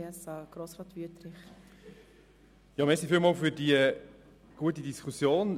Vielen Dank für die gute Diskussion.